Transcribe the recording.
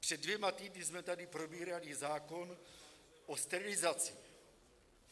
Před dvěma týdny jsme tady probírali zákon o sterilizaci.